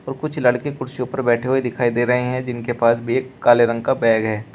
और कुछ लड़के कुर्सियों पर बैठे हुए दिखाई दे रहे हैं जिनके पास भी एक काले रंग का बैग है।